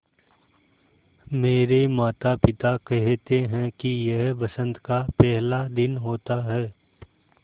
मेरे माता पिता केहेते है कि यह बसंत का पेहला दिन होता हैँ